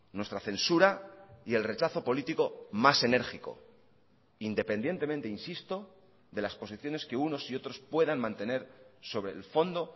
nuestra censura y el rechazo político más enérgico independientemente insisto de las posiciones que unos y otros puedan mantener sobre el fondo